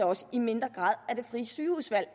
også i mindre grad af det frie sygehusvalg